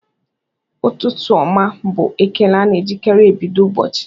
"Ụtụtụ ọma!" bụ ekele a na-ejikarị ebido ụbọchị